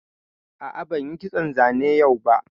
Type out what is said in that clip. A'a, ban yi kitson zane yau ba